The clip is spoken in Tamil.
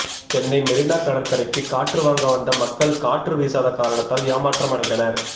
சென்னை மெரினா கடற்கரைக்கு காற்று வாங்க வந்த மக்கள் காற்று வீசாத காரணத்தால் ஏமாற்றம் அடைந்தனர்